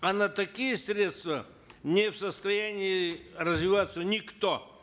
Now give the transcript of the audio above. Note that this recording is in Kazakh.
а на такие средства не в состоянии развиваться никто